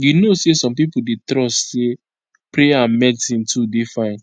you know say some pipo dey trust say prayer and medicine to dey fine